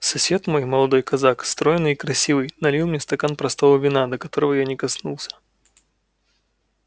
сосед мой молодой казак стройный и красивый налил мне стакан простого вина на которого я не коснулся